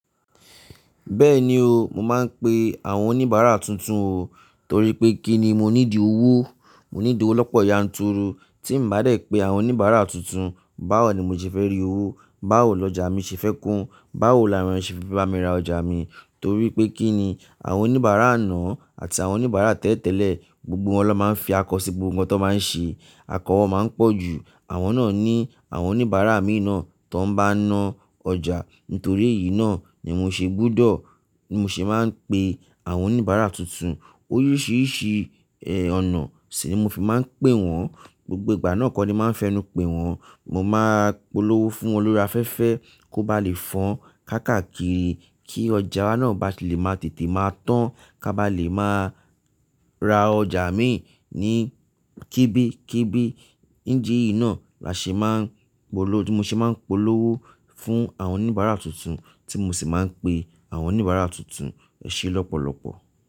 Bẹ́ẹ̀ni o, mo máa ń pe àwọn oníbàárà tuntun o, torí pé kí ni mo ní di owó? Mo need owó lọ́pọ̀ yanturu tí n bá dé pe àwọn oníbàárà tuntun, báwo ni mo ṣe fẹ́ rí owó? Báwo lọjà mi ṣe fẹ́ kún? Báwo làwọn ènìyàn ṣe fe báa mi ra ọjà mi? Torí pé kí ni àwọn oníbàárà àná àti àwọn oníbàárà tẹ́lẹ̀ tẹ́lẹ̀, gbogbo wọn lọ́ máa ń fi akọ sí gbogbo ohun tó máa ń ṣe. Akọ wọn máa ń pọ̀ jù, àwọn náà ní àwọn oníbàárà mìi na tó n bá ń ná ọjà. Nítorí èyí náà ni mo ṣe gbúdọ̀, ni mo se máa ń pe àwọn oníbàárà tuntun. Oríṣìíríṣìí, ẹ́, ọ̀nà sì ni mo fi máa ń pè wọ́n, gbogbo ìgbà náà kọ́ ni máa ń fẹnu pé wọ́n. Mo máa polówó fún olùri afẹ́fẹ́ kó bá lè fọn káàkiri kí ọjà náà bá lè máa tètè máa tán, ká bá lè máa ra ọjà mi ní kébékébé. Nídi yi náà la ṣe máa ń polówó, mo se máa ń polówó fún àwọn oníbàárà tuntun tí mo sì máa ń pe àwọn oníbàárà tuntun ẹṣẹ lọ́pọ̀lọ́pọ̀.